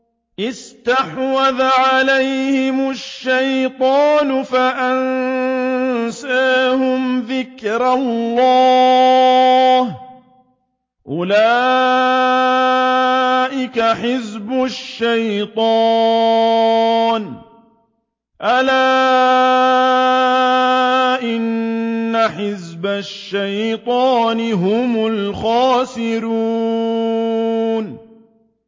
اسْتَحْوَذَ عَلَيْهِمُ الشَّيْطَانُ فَأَنسَاهُمْ ذِكْرَ اللَّهِ ۚ أُولَٰئِكَ حِزْبُ الشَّيْطَانِ ۚ أَلَا إِنَّ حِزْبَ الشَّيْطَانِ هُمُ الْخَاسِرُونَ